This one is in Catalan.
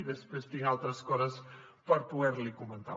després tinc altres coses per poder li comentar